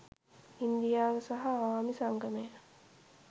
ඉන්දියාව සහ අවාමි සංගමය